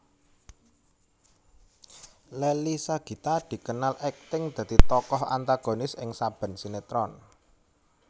Leily Sagita dikenal akting dadi tokoh antagonis ing saben sinetron